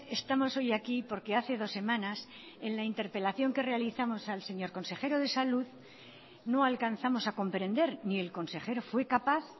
estamos hoy aquí porque hace dos semanas en la interpelación que realizamos al señor consejero de salud no alcanzamos a comprender ni el consejero fue capaz